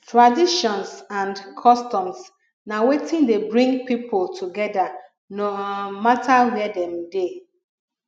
traditions and customs na wetin de bring pipo together no um matter where dem de